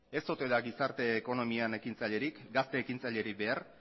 ez ote da gizarte ekonomian ekintzailerik gazte ekintzailerik behar